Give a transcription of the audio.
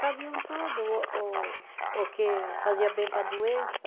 Sabiam tudo o o o que fazia bem para a doença.